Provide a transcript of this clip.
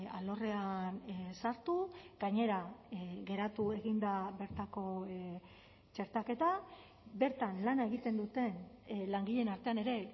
alorrean sartu gainera geratu egin da bertako txertaketa bertan lana egiten duten langileen artean ere